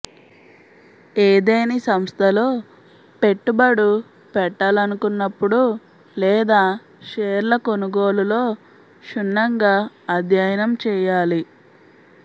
ఏదేని సంస్థలో పెట్టుబడు పెట్టాలనుకున్నప్పుడు లేదా షేర్ల కొనుగోలులో క్షుణ్ణంగా అధ్యయనం చేయాలి